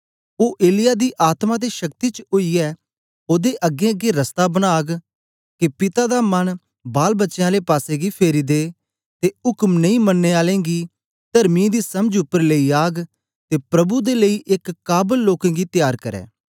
ओ एलिय्याह दी आत्मा ते शक्ति च ओईयै ओदे अगेंअगें रस्ता बनाग के पिता दा मन बालबच्चें आले पासेगी फेरी दे ते उक्म नेई मननें आलें गी तर्मियों दी समझ उपर लेई आग ते प्रभु दे लेई एक काबल लोकें गी त्यार करै